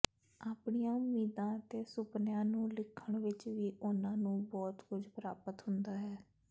ਆਪਣੀਆਂ ਉਮੀਦਾਂ ਅਤੇ ਸੁਪਨਿਆਂ ਨੂੰ ਲਿਖਣ ਵਿਚ ਵੀ ਉਨ੍ਹਾਂ ਨੂੰ ਬਹੁਤ ਕੁਝ ਪ੍ਰਾਪਤ ਹੁੰਦਾ ਹੈ